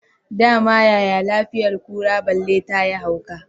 Dama yaya lafiyar kura balle tayi hauka